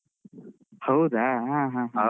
ಹೌದಾ? ಹ ಹ ಸರಿ ಸರಿ.